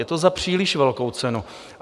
Je to za příliš velkou cenu.